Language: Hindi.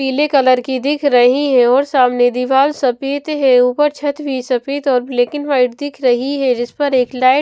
पीले कलर की दिख रही है और सामने दीवाल सफेद है ऊपर छत भी सफेद और ब्लैक एंड वाइट दिख रही है जिस पर एक लाइट --